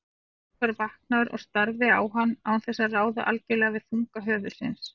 Georg var vaknaður og starði á hann án þess að ráða algjörlega við þunga höfuðsins.